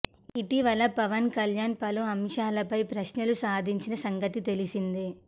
ఇటివల పవన్ కళ్యాణ్ పలు అంశాలపై ప్రశ్నలు సంధించిన సంగతి తెలిసిందే